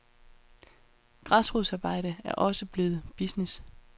Græsrodsarbejde er også blevet business.